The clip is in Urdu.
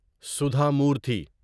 سودھا مورتی